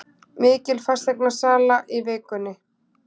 Mikil fasteignasala í vikunni